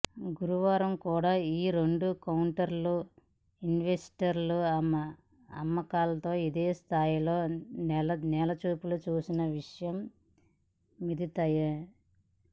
గురువారం కూడా ఈ రెండు కౌంటర్లూ ఇన్వెస్టర్ల అమ్మకాలతో ఇదే స్థాయిలో నేలచూపులు చూసిన విషయం విదితమే